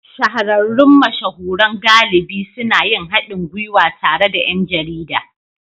Shahararrun mashahuran galibi suna yin haɗin gwiwa tare da ’yan jarida